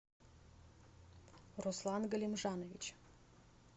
руслан галимжанович